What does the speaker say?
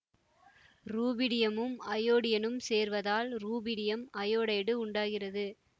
ருபீடியமும் அயோடினும் சேர்வதால் rubidium iodide உண்டாகிறது